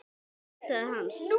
Leitaði hans.